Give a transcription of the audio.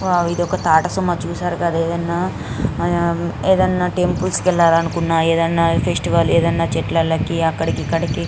Wow ఇదొక Tata Sumo చూసారు కదా ఎదన్న ఉమ్ ఏదన్నా టెంపుల్స్ కెళ్లాలనుకున్న ఏదన్నఫెస్టివల్ ఎదన్న చెట్లలకి అకడికి ఇక్కడికి.